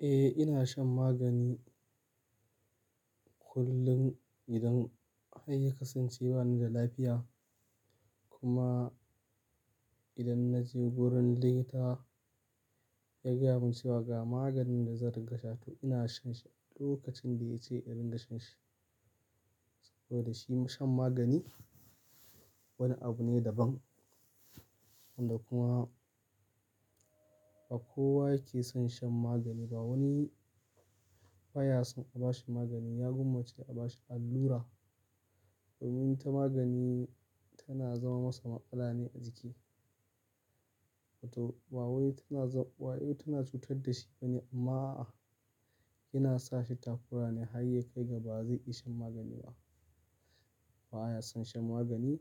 Eh, ina shan magani kullum idan har ya kasance ba ni da lafiya. Kuma idan na je wurin likita ya gaya min cewa ga maganin da zan rikasha, to ina shan shi lokacin da ya ce in rika shan shi. Saboda shi san magani wani abune daban wanda kuma bakowa keson shan maganiba. Wani baya son a bashi magani, ya gwammaci a bashi allura domin ta magani tana zama masa matsala ne a jiki. To, ba yau tana za-- ba wai tana cutar da shi bane amma a, yana sa shi takura ne har ya kai gaba zai iya shan magani ba. Ba ya son shan magani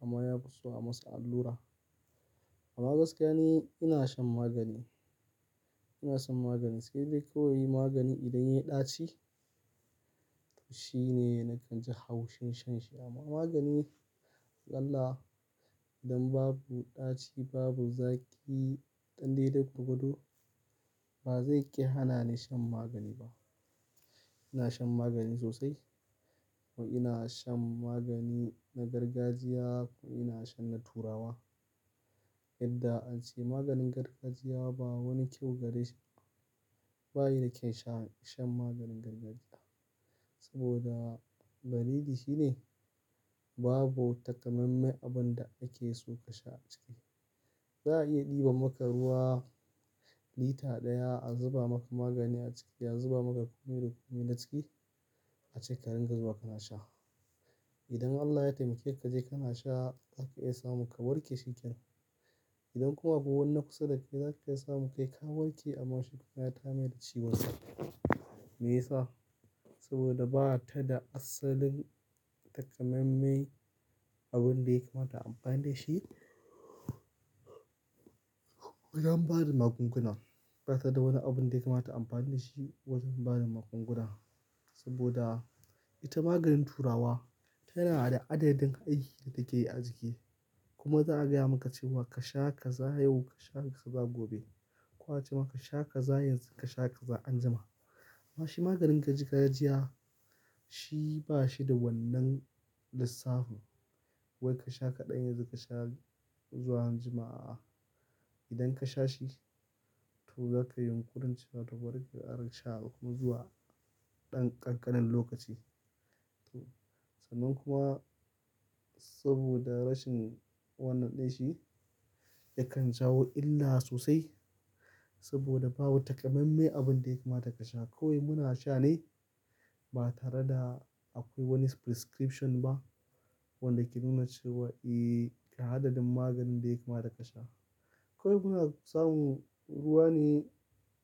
amma ya giso a masa allura. Amma gaskiya ni ina shan magani, ina shan magani sai dai kawai magani idan ya yi ɗaci. To shi ne nakan ji haushin shan shi amma magani zalla idan babu ɗaci, babu zaki, ɗan dai dai gwargwado ba zai ƙi hana ni shan magani ba. Ina shan magani sosai kuma ina shan magani na gargajiya kuma ina shan na turawa. Yadda an ce maganin gargajiya ba wani kyau gare shi, ba yi da kyan sha-- shan maganin gargajiya. Saboda dalili shi ne babu takamamme abin da ake so ka sha a ciki. Za a iya ɗiba maka ruwa lita ɗaya, a zuba maka magani a ciki, a zuba maka ƙomi da ƙomi na ciki ace ka ringa zuba ka na sha. Idan Allah ya taimake ka je ka na sha za ka iya samu ka warke shikenan. Idan akwai wani na kusa da kai za ka iya samu kai ka warke amma shi kuma ya tayar mai da ciwon sa. Me ya sa? Saboda ba ta da asalin takammame abin da ya kamata ayi amfani da shi. Wajen bada magunguna, ba ta da wani abin da ya kamata a amfani da shi wajen bada magunguna. Saboda ita maganin turawa tana da adadin aiki da take yi a jiki. Kuma za a gaya maka cewa ka sha ka za yau, ka sha ka za gobe. Ko a ce maka ka sha ka za yanzu, ka sha ka za anjima. Amma shi maganin gargajiya shi ba shi da wannan lissafi wai ka sha kaɗan yanzu ka sha zuwa anjima a'a. Idan ka sha shi to za ka yi yunqurin cewa to bari ka kara sha ko zuwa ɗan ƙanƙanen lokaci. To, sannan kuma saboda rashin wannan ɗin shi, yakan jawo illa sosai saboda babu takammame abin da ya kamata ka sha. Kawai muna sha ne ba tare da akwai wani prescription ba wanda ke nuna cewa eh, ka adadin maganin da ya kamata ka sha. Kawai muna samun ruwane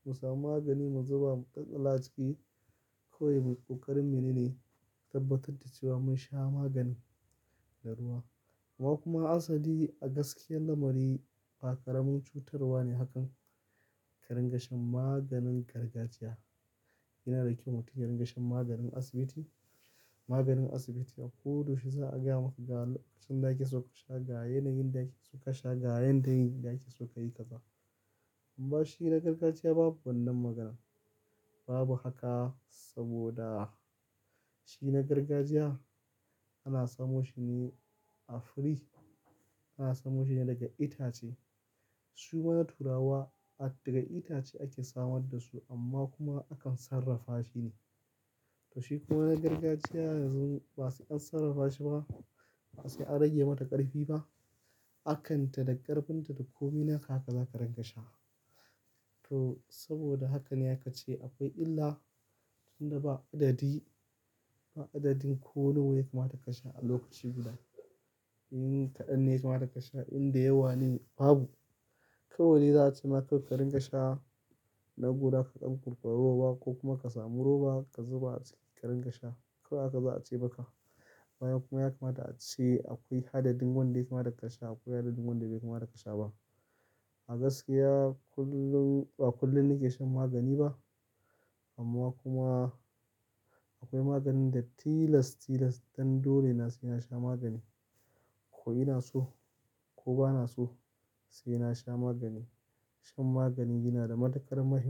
musamu magani muzuba mu tsalla aciki. Kawai muyi ƙoƙarin menene tabbatar da cewa mun sha maganin da ruwa. Amma kuma ansa dai a gaskiyan lamari ba ƙaramin cutarwa ne hakan ka ringa shan maganin gargajiya. Yana da kyau mutum ya ringa shan maganin asibiti, maganin asibiti a ko da yaushe za a gaya maka ga lokacin da ake so ka sha ga yanayin da ake so ka sha, ga yanayin da ake so ka yi kaza. Amma shi na gargajiya babu wannan magana. Babu haka saboda shi na gargajiya ana samo shi ne afiri, ana samo shi ne daga itace. Shikuma na turawa daga itace ake samaddasu amma kuma akan sarrafa shine to shi kuma na gargajiya yanzu ba su an sarrafa shi ba, ba su an rage mata ƙarfi ba. Hakan ta da ƙarfin ta da komi naka haka za ka ringa sha. To saboda haka ne aka ce akwai illa tun da ba adadi, ba adadin ko nawa yake mata ka sha a lokaci guda. In kaɗan yaka mata ka sha, in da yawa ne babu. Kawai de za a ce ma kawai ka ringa sha na guda ka dan kuɓar ruwa ko kuma ka samu roba ka zuba a ciki ka ringa sha. Kawai haka za a ce maka. Amma kuma ya kamata a ce akwai hadadin wanda yake mata ka sha, akwai hadadin wanda bai kamata ka sha ba. A gaskiya kullum ba kullum nike shan magani ba. Amma kuma akwai maganin da tilas-tilas ɗan dole na saina sha magani. Ko ina so ko ba na so sai na sha magani. Shan magani yana da matuƙar mahimmanci.